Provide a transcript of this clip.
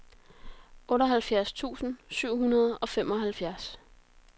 otteoghalvfjerds tusind syv hundrede og femoghalvfjerds